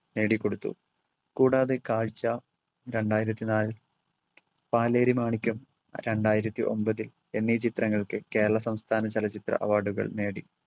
നേടിക്കൊടുത്തു. കൂടാതെ കാഴ്ച്ച രണ്ടായിരത്തി നാല്, പാലേരിമാണിക്ക്യം രണ്ടായിരത്തി ഒമ്പത് എന്നീ ചിത്രങ്ങൾക്ക് കേരള സംസ്ഥാന ചലച്ചിത്ര അവാർഡുകൾ നേടി